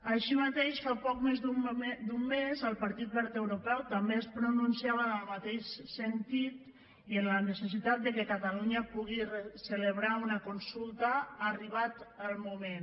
així mateix fa poc més d’un mes el partit verd europeu també es pronunciava en el mateix sentit i en la necessitat que catalunya pugui celebrar una consulta arribat el moment